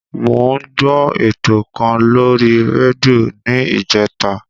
Mo ń gbọ́ ètò kan lórí rédíò ni ìjẹta.